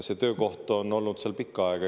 See töökoht on olnud seal pikka aega.